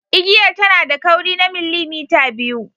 Igiyar tana da kauri na millimita biyu.